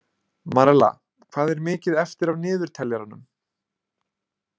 Marella, hvað er mikið eftir af niðurteljaranum?